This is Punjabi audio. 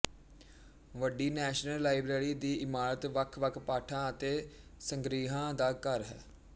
ਵੱਡੀ ਨੈਸ਼ਨਲ ਲਾਇਬਰੇਰੀ ਦੀ ਇਮਾਰਤ ਵੱਖਵੱਖ ਪਾਠਾਂ ਅਤੇ ਸੰਗ੍ਰਹਿਾਂ ਦਾ ਘਰ ਹੈ